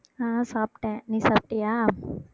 அஹ் சாப்பிட்டேன் நீ சாப்பிட்டியா